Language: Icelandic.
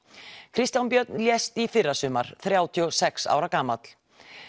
Kristján Björn lést í fyrrasumar þrjátíu og sex ára gamall